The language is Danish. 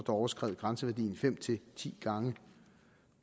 overskred grænseværdien fem ti gange